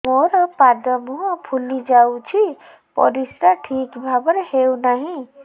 ମୋର ପାଦ ମୁହଁ ଫୁଲି ଯାଉଛି ପରିସ୍ରା ଠିକ୍ ଭାବରେ ହେଉନାହିଁ